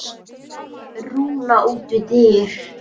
Rúna út við dyr.